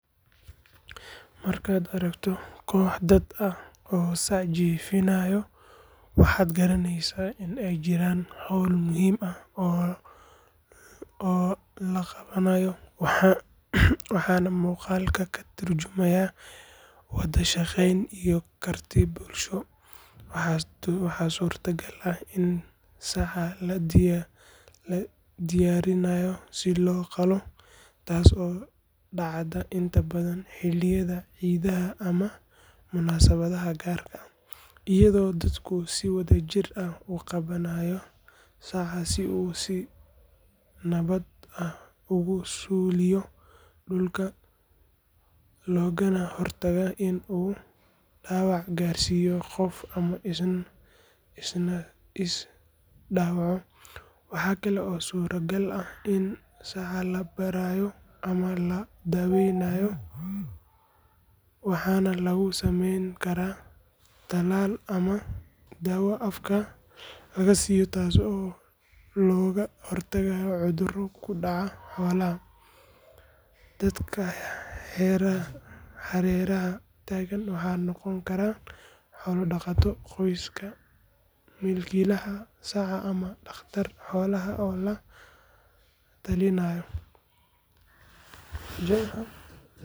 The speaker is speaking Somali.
Markaad aragto koox dad ah oo sac jiifinaya, waxaad garanaysaa in ay jiraan hawl muhiim ah oo la qabanayo, waana muuqaal ka tarjumaya wada shaqayn iyo karti bulsho. Waxaa suurtagal ah in saca la diyaarinayo si loo qalo, taas oo dhacda inta badan xilliyada ciidaha ama munaasabadaha gaar ah, iyadoo dadku si wadajir ah u qabanaya saca si uu si nabad ah ugu suuliyo dhulka loogana hortago in uu dhaawac gaarsiiyo qof ama isna is dhaawaco. Waxa kale oo suuragal ah in saca la baarayo ama la daaweynayo, waxaana lagu sameyn karaa tallaal ama daawo afka laga siiyo, taas oo looga hortagayo cudurro ku dhaca xoolaha. Dadka hareeraha taagan waxay noqon karaan xoolo dhaqato, qoyska milkiilaha saca ama dhakhtar xoolaha oo la talinaya.